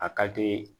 A ka teli